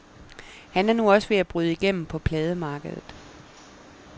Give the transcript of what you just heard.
Han er nu også ved at bryde igennem på plademarkedet.